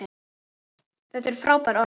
Þetta er frábært orð.